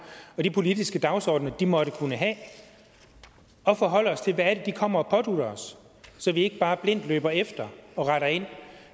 og de politiske dagsordener de måtte kunne have at forholde os til hvad det er de kommer og pådutter os så vi ikke bare blindt løber efter og retter ind